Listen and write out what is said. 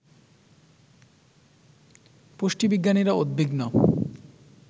পুষ্টিবিজ্ঞানীরা উদ্বিগ্ন